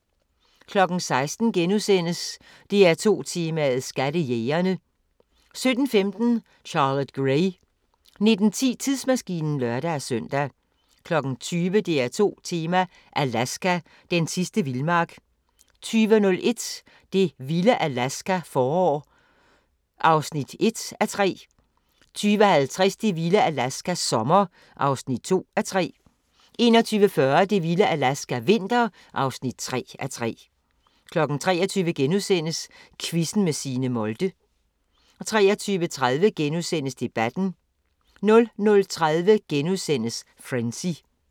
16:00: DR2 Tema: Skattejægerne * 17:15: Charlotte Gray 19:10: Tidsmaskinen (lør-søn) 20:00: DR2 Tema: Alaska – den sidste vildmark 20:01: Det vilde Alaska – forår (1:3) 20:50: Det vilde Alaska – sommer (2:3) 21:40: Det vilde Alaska – vinter (3:3) 23:00: Quizzen med Signe Molde * 23:30: Debatten * 00:30: Frenzy